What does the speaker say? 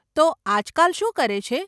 તો, આજકાલ શું કરે છે?